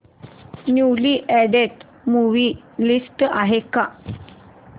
newly added movie list आहे का